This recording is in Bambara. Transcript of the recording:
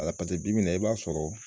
A ka paseke bi bi in na i b'a sɔrɔ